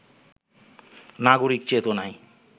নাগরিক চেতনায়